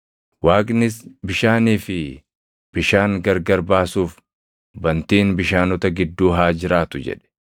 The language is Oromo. Waaqnis, “Bishaanii fi bishaan gargar baasuuf bantiin bishaanota gidduu haa jiraatu” jedhe.